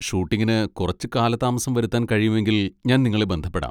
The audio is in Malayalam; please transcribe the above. ഷൂട്ടിംഗിന് കുറച്ച് കാലതാമസം വരുത്താൻ കഴിയുമെങ്കിൽ ഞാൻ നിങ്ങളെ ബന്ധപ്പെടാം.